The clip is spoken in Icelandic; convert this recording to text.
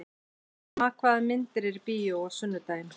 Kamma, hvaða myndir eru í bíó á sunnudaginn?